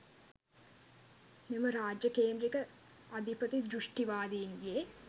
මෙම රාජ්‍ය කේන්ද්‍රික අධිපති දෘෂ්ටිවාදීන්ගේ